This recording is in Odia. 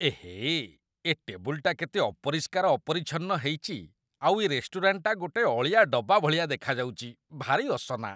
ଏହେଃ! ଏ ଟେବୁଲଟା କେତେ ଅପରିଷ୍କାର ଅପରିଚ୍ଛନ୍ନ ହେଇଚି ଆଉ ଏ ରେଷ୍ଟୁରାଣ୍ଟଟା ଗୋଟେ ଅଳିଆ ଡବା ଭଳିଆ ଦେଖାଯାଉଚି, ଭାରି ଅସନା!!